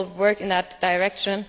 We will work in that direction.